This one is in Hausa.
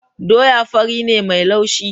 Doya fari ne mai launi.